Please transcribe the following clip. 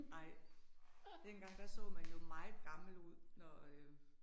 Nej. Dengang, der så man jo meget gammel ud når øh